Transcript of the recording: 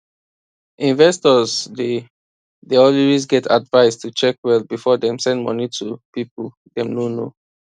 investors dey dey always get advice to check well before dem send money to people dem no know